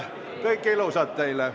Kõike ilusat teile!